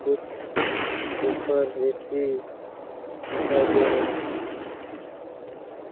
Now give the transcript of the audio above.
कुछ woofer AC दिखाई दे रहे हैं।